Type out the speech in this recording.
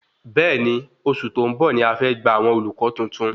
Bẹẹni, oṣù tó ń bọ̀ ní a fe gba àwọn olùkọ tuntun